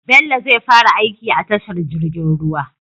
Bello zai fara aiki a tashar jirgin ruwa